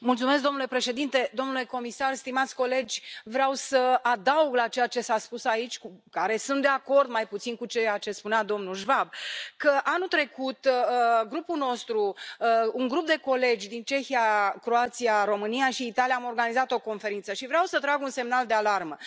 Domnule președinte, domnule comisar, stimați colegi, vreau să adaug la ceea ce s a spus aici cu care sunt de acord, mai puțin cu ceea ce spunea domnul Schwab că, anul trecut, grupul nostru, un grup de colegi din Cehia, Croația, România și Italia, am organizat o conferință și vreau să trag un semnal de alarmă.